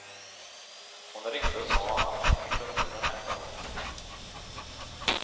Hon ringde och sa att hon inte kunde, den här gången.